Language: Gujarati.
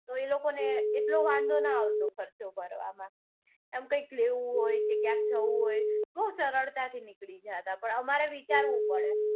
તો એ લોકોને એટલો વાંધો નઈ આવતો ખર્ચો કરવામાં. એમ કઈ લેવું હોય જાઉં હૉય બૌ સરળતાથી નીકળી જતા પણ અમારે વિચારવું પડે.